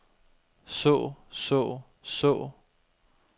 så så så